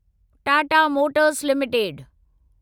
Tata motors limited